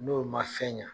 N'o ma fɛn ɲa